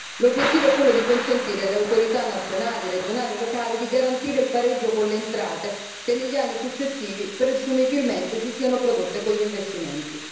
L'obiettivo è quello di consentire alle autorità nazionale, regionali e locali di garantire il pareggio con le entrate che negli anni successivi presumibilmente si siano prodotte con gli investimenti.